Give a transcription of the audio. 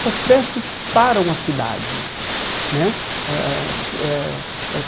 Essas festas param a cidade né eh eh eh.